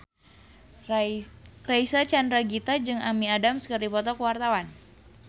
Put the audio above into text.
Reysa Chandragitta jeung Amy Adams keur dipoto ku wartawan